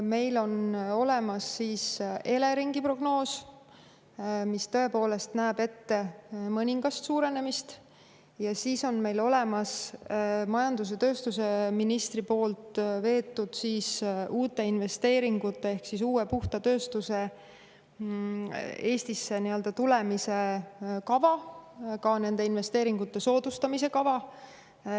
Meil on olemas Eleringi prognoos, mis tõepoolest näeb ette mõningast suurenemist, ja meil on olemas majandus- ja tööstusministri poolt veetud uute investeeringute ehk uue puhta tööstuse Eestisse tulemise kava, ka nende investeeringute soodustamise kava.